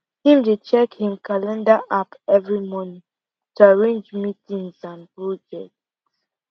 him dey check him calender app every morning to arrange meetings and project